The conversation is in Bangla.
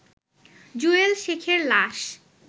জুয়েল শেখের লাশ